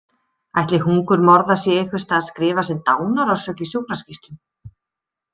Ætli hungurmorða sé einhvers staðar skrifað sem dánarorsök í sjúkraskýrslum?